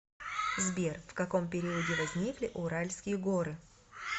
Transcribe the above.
сбер в каком периоде возникли уральские горы